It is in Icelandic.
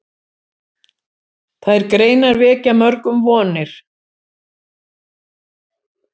Þær greinar vekja mörgum vonir.